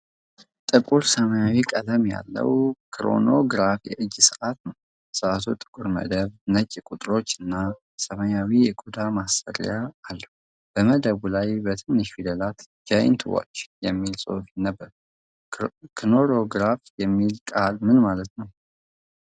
ጥቁር ሰማያዊ ቀለም ያለው ክሮኖግራፍ የእጅ ሰዓት ነው። ሰዓቱ ጥቁር መደብ፣ ነጭ ቁጥሮችና ሰማያዊ የቆዳ ማሰሪያ አለው። በመደቡ ላይ በትንሽ ፊደላት 'ጃይንት ዋች' የሚል ጽሑፍ ይነበባል። ክሮኖግራፍ የሚለው ቃል ምን ማለት ነው?